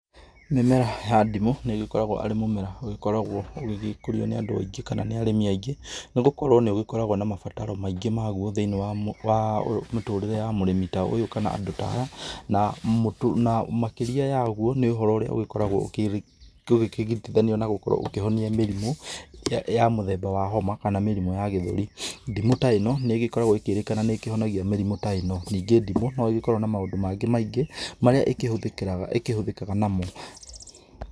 Mĩmera ya ndimũ nĩgĩkoragwo arĩ mũmera ũgĩkoragwo ũgĩgĩkũrio nĩ andũ aingĩ kana nĩ arĩmi angĩ, nĩgũkorwo nĩ ũkoragwo na mabataro maingĩ maguo thĩiniĩ wa mĩtũrire ya mũrĩmi ta ũyũ kana andũ ta aya, na makĩria ya ũguo nĩ ũhoro ũrĩa ũgĩkoragwo ũkĩgiritithanio na ũkĩhonia mĩrimũ ya mũthemba wa homa kana mĩrimũ ya gĩthũri. Ndimũ ta ĩno nĩgĩkoragwo ĩkĩrĩkana nĩkĩhonagia mĩrimũ ta ĩno. Ningĩ ndimũ nĩgĩkoragwo na maũndũ mangĩ maingĩ marĩa ĩkĩhũthĩkaga namo.